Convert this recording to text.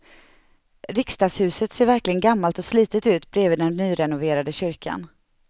Riksdagshuset ser verkligen gammalt och slitet ut bredvid den nyrenoverade kyrkan.